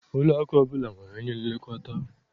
Ụlọakụ ọbụla nwere onye nlekọta